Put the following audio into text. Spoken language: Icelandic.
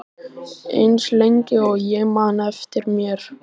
Eins lengi og ég man eftir mér.